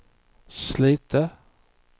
Slite